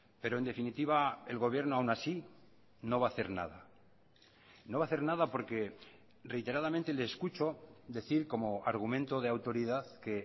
pero en definitiva el gobierno aún así no va a hacer nada no va a hacer nada porque reiteradamente le escucho decir como argumento de autoridad que